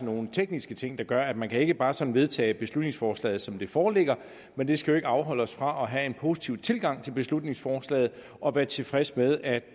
nogle tekniske ting der gør at man ikke bare sådan kan vedtage beslutningsforslaget som det foreligger men det skal ikke afholde os fra at have en positiv tilgang til beslutningsforslaget og være tilfredse med at